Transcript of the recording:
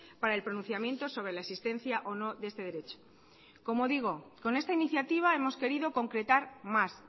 para el pronunciamiento sobre la existencia o no de este derecho como digo con esta iniciativa hemos querido concretar más